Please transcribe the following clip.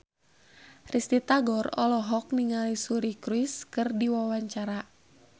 Risty Tagor olohok ningali Suri Cruise keur diwawancara